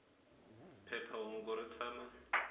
phepha hungu ri tshama